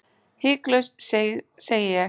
Hiklaust segi ég.